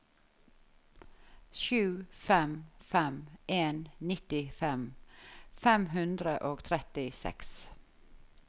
sju fem fem en nittifem fem hundre og trettiseks